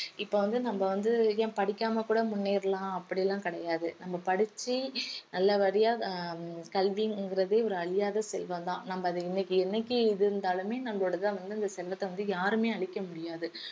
இப்ப வந்து நம்ம வந்து ஏன் படிக்காம கூட முன்னேறலாம் அப்படியெல்லாம் கிடையாது நம்ம படிச்சு நல்லபடியா ஹம் கல்விங்கறதே ஒரு அழியாத செல்வம் தான் நம்ம அத இன்னைக்கு என்னைக்கு இது இருந்தாலுமே நம்மளோடது தான் வந்து அந்த செல்வத்தை வந்து யாருமே அழிக்க முடியாது